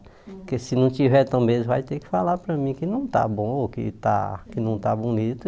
Porque se não tiver também, eles vão ter que falar para mim que não está bom ou que está que não está bonito.